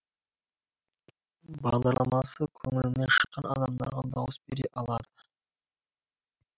бағдарламасы көңілінен шыққан адамдарға дауыс бере алады